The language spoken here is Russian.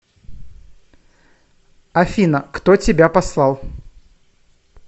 афина кто тебя послал